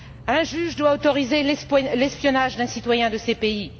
Un juge doit autoriser l'espionnage d'un citoyen de ces pays.